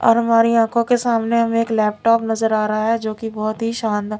और हमारी आंखों के सामने हमें एक लैपटॉप नजर आ रहा है जो कि बहुत ही शानदार--